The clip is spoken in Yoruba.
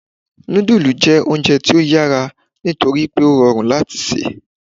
Nudulú jẹ ounjẹ ti o yara nitori pe o rọrun lati ṣe